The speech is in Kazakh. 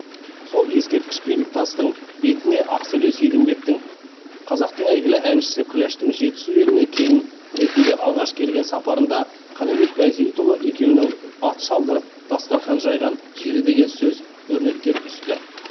сол ескерткіш белгітастың бетіне ақселеу сейдімбектің қазақтың әйгілі әншісі күләштің жетісу еліне келін ретінде алғаш келген сапарында қанабек байсейітұлы екеуінің ат шалдырып дастарқан жайған жері деген сөзі өрнектеліп түсті